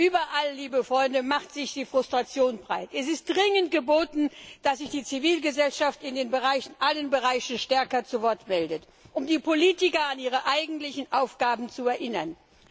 Überall macht sich Frustration breit. Es ist dringend geboten, dass sich die Zivilgesellschaft in allen Bereichen stärker zu Wort meldet, um die Politiker an ihre eigentlichen Aufgaben zu erinnern.